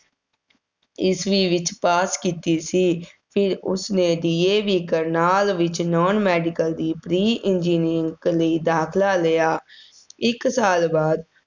ਈਸਵੀ ਵਿੱਚ pass ਕੀਤੀ ਸੀ ਫਿਰ ਉਸਨੇ DAV ਕਰਨਾਲ ਵਿੱਚ non medical ਦੀ pre engineering ਲਈ ਦਾਖਲਾ ਲਿਆ, ਇੱਕ ਸਾਲ ਬਾਅਦ